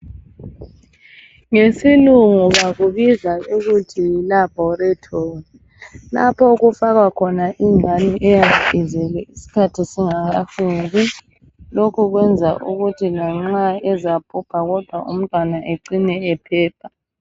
ngesilungu bakubiza ukuthi yi laboratory lapho okufakwa khona ingane eyabe izelwe isikhathi singakakwani lokhu kwenza ukuthi lanxa ezabhubha kodwa umntwana ecine ephepha